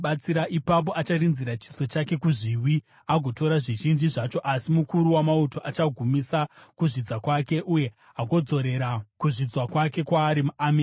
Ipapo acharinzira chiso chake kuzviwi agotora zvizhinji zvacho, asi mukuru wamauto achagumisa kuzvidza kwake uye agodzorera kuzvidzwa kwake kwaari amene.